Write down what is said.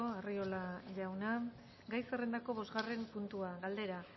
arriola jauna gai zerrendako bosgarren puntua galdera